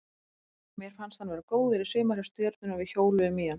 Mér fannst hann vera góður í sumar hjá Stjörnunni og við hjóluðum í hann.